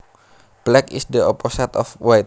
Black is the opposite of white